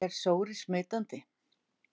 Er sóri smitandi?